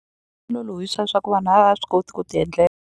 Lolohisa swa ku vanhu a va ha swi koti ku ti endlela.